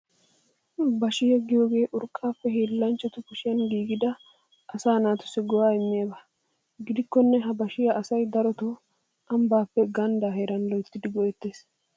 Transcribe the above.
Bashiyaa giyoogee urqqaappe hiillanchatu kushiyan giigidi asaa naatussi go"aa immiyaaba. Gidikkonne ha bashiyaa asay daroton ambbappe ganddaa heeran loyttidi go"etees.